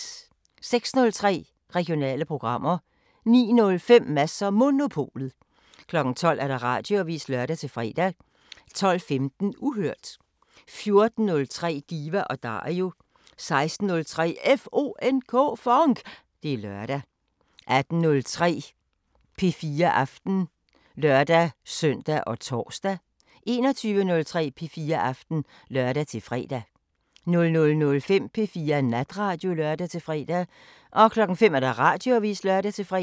06:03: Regionale programmer 09:05: Mads & Monopolet 12:00: Radioavisen (lør-fre) 12:15: Uhørt 14:03: Diva & Dario 16:03: FONK! Det er lørdag 18:03: P4 Aften (lør-søn og tor) 21:03: P4 Aften (lør-fre) 00:05: P4 Natradio (lør-fre) 05:00: Radioavisen (lør-fre)